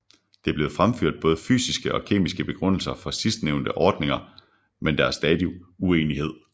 Der er blevet fremført både fysiske og kemiske begrundelser for sidstnævnte ordninger men der er stadig uenighed